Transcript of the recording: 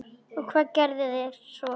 Og hvað gerðuð þér svo?